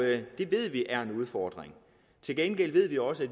det ved vi er en udfordring til gengæld ved vi også at